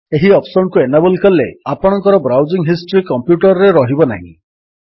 ଏହି ଅପ୍ସନ୍ କୁ ଏନାବଲ୍ କଲେ ଆପଣଙ୍କର ବ୍ରାଉଜିଙ୍ଗ୍ ହିଷ୍ଟ୍ରୀ କମ୍ପ୍ୟୁଟର୍ ରେ ରହିବ ନାହିଁ